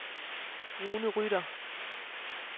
Rune Rytter